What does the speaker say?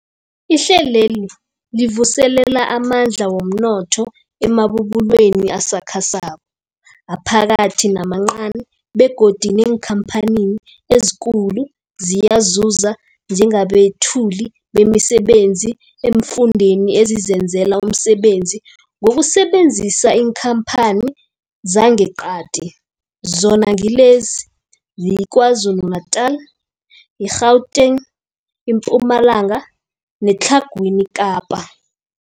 Ihlelweli livuselela amandla womnotho emabubulweni asakhasako, aphakathi namancani begodu neenkhamphani ezikulu ziyazuza njengabethuli bemisebenzi eemfundeni ezizenzela umsebenzi ngokusebenzisa iinkhamphani zangeqadi, zona ngilezi, yiKwaZulu-Natala, i-Gauteng, iMpumalanga neTlhagwini Kapa.